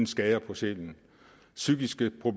skade på sjæl